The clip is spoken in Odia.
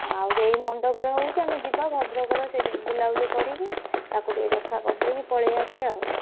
ଆଉ ସେଇ ମଣ୍ଡପରେ ହଉଛି ଆମେ ଯିବା ଭଦ୍ରକର ସେଇଟି ବୁଲାବୁଲି କରିକି ତାକୁ ଟିକେ ଦେଖାକରିଦେଇକି ପଳେଇ ଆସିଆ ଆଉ।